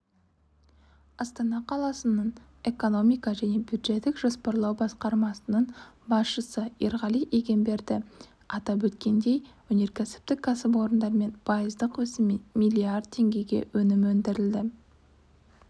астана қаласының экономика және бюджеттік жоспарлау басқармасының басшысы ерғали егемберді атап өткендей өнеркәсіптік кәсіпорындармен пайыздық өсіммен миллиард теңгеге өнім өндірілді